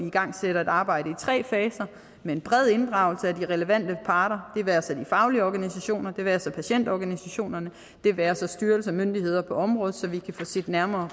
igangsætter et arbejde i tre faser med en bred inddragelse af de relevante parter det være sig de faglige organisationer det være sig patientorganisationerne det være sig styrelser og myndigheder på området så vi kan få set nærmere